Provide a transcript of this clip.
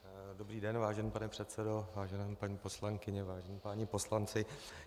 Dobrý den vážený pane předsedo, vážené paní poslankyně, vážení páni poslanci.